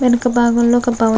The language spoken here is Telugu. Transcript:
వెనక భాగం లో ఒక భవ--